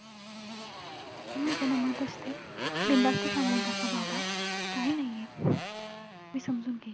त्या स्वरांबद्दल काही सांगू शकतेस का कुठले स्वर कसला गळ्यातला सूर कसा पकडायचा .